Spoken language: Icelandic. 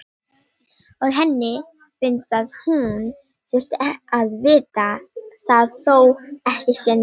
Og henni finnst að hún þyrfti að vita það þó ekki sé nema